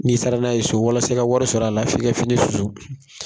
N'i sara n'a ye so, walasa i ka wari sɔrɔ a la f'i ka fini susu.